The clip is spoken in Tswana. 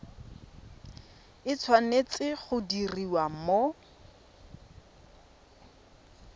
e tshwanetse go diriwa mo